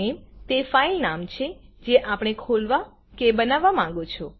filenameતે file નામ છે જે આપણે ખોલવા કે બનાવવા માંગો છો